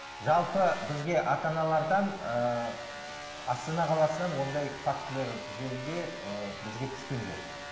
жалпы бізге ата аналардан ыыы астана қаласынан ондай фактілер жөнінде ыыы бізге түскен жоқ